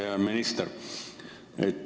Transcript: Hea minister!